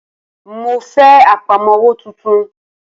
Mo fẹ́ Àpámọ́wọ́ tuntun